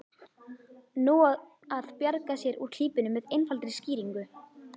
Nú á að bjarga sér úr klípunni með einfaldri skýringu.